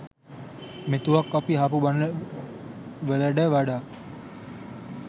මෙතුවක් අපි අහපු බණ වලඩ වඩා